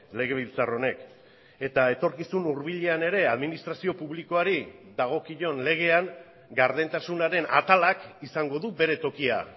legebiltzar honek eta etorkizun hurbilean ere administrazio publikoari dagokion legean gardentasunaren atalak izango du bere tokia